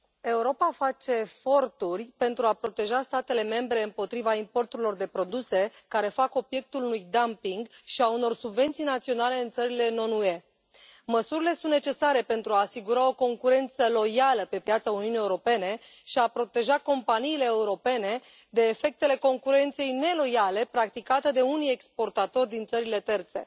Europa face eforturi pentru a proteja statele membre împotriva importurilor de produse care fac obiectul unui dumping și a unor subvenții naționale în țările non UE. Măsurile sunt necesare pentru a asigura o concurență loială pe piața Uniunii Europene și a proteja companiile europene de efectele concurenței neloiale practicate de unii exportatori din țările terțe.